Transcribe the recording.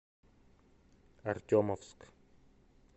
артемовск